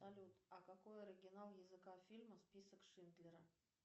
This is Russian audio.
салют а какой оригинал языка фильма список шиндлера